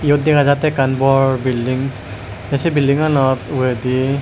iyot dega jatte ikkan bor building te say building anot uredi.